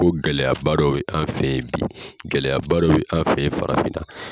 Ko gɛlɛyaba dɔ bɛ an fɛ yen bi gɛlɛyaba dɔ bɛ an fɛ yen farafinna..